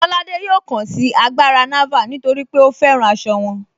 Kọládé yọ̀ọ́ kàn sí àgbárà Nàvàl̀ nítorí pé ó fẹ́ràn àṣọ wọn.